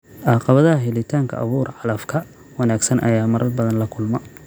Caqabadaha helitaanka abuur calafka wanaagsan ayaa marar badan la kulma.